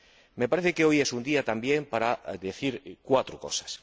Me parece que hoy es un día, también, para decir cuatro cosas.